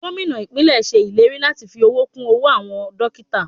Gómìnà ìpínlè ṣe ìlérí láti fi owó kún owó àwọn dókítà.